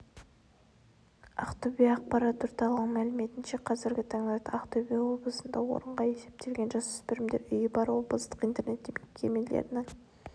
ақтөбе ақпарат орталығының мәліметінше қазіргі таңда ақтөбе облысында орынға есептелген жасөспірімдер үйі бар облыстық интернет мекемелерінің